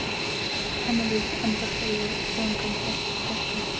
Henni líkt, andvarpa ég í þungum þönkum.